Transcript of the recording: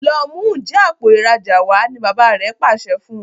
lọ mú Njé Àpò ìrajà wá! ní bàbá rẹ pàṣẹ fún.